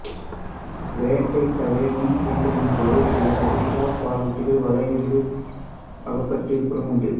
வேட்டை தவிர மீன்பிடித்தலின்போது சில கடல்சார் பாலூட்டிகள் வலைகளில் அகப்பட்டு இறப்பதும் உண்டு